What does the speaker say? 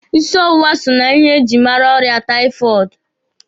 Ịsị ọwụwa so na ihe e jiri mara ọrịa taifọọdụ.